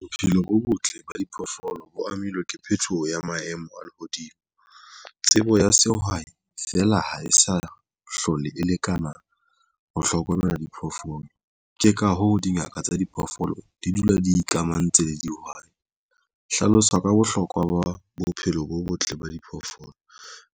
Bophelo bo botle ba diphoofolo bo amilwe ke phethoho ya maemo a lehodimo. Tsebo ya sehwai feela ha e sa hlole e lekana ho hlokomela diphoofolo. Ke ka hoo dingaka tsa diphoofolo di dula di ikamahantse le dihwai. Hlalosa ka bohlokwa ba bophelo bo botle ba diphoofolo